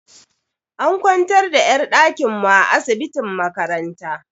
An kwantar da yar dakin mu a asibitin makaranta.